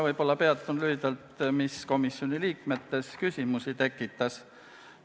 Ma peatun lühidalt sellel, mis komisjoni liikmetes küsimusi tekitas.